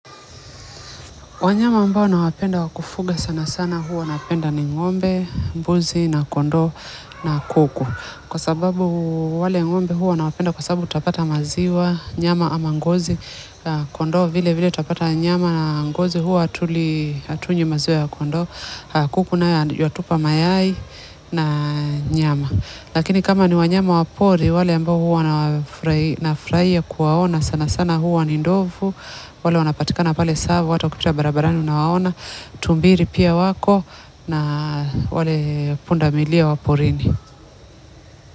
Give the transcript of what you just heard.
Wanyama ambao nawapenda wa kufuga sana sana huwa napenda ni ngombe, mbuzi na kondoo na kuku. Kwa sababu wale ngombe huwa nawapenda kwa sababu utapata maziwa nyama ama ngozi. Kondoo vile vile utapata nyama na ngozi huwa hatunywi maziwa ya kondoo. Kuku naye watupa mayai na nyama lakini kama ni wanyama wa pori wale ambao huwa na nafurahia kuwaona sana sana huwa ni ndovu. Wale wanapatikana pale Tsavo, watu wakipita barabarani unawaona, tumbili pia wako na wale pundamilia wa porini.